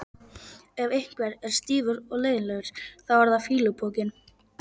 Ef einhver er stífur og leiðinlegur þá er það fýlupokinn.